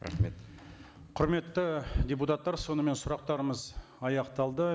рахмет құрметті депутаттар сонымен сұрақтарымыз аяқталды